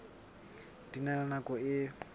di na le nako e